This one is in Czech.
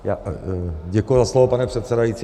Děkuji za slovo, pane předsedající.